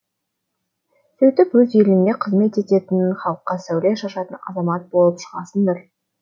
сөйтіп өз еліңе қызмет ететін халыққа сәуле шашатын азамат болып шығасыңдар